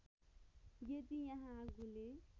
यदि यहाँ आगोले